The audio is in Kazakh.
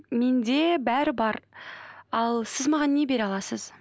менде бәрі бар ал сіз маған не бере аласыз